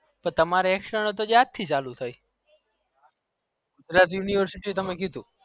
તો તમારે external chair થી ચાલુ થઇ તમે university તમે કીધું